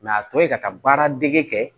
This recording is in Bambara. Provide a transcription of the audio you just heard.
a tɔ to yen ka taa baara dege kɛ